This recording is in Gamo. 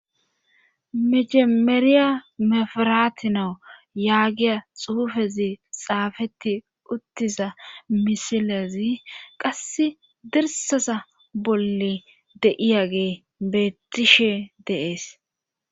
Mecemeriya mefiratinawu yaagiya xuufezi xaafeti uttiza misilezi qass dirsaza bolle deiyagee beettishe dees.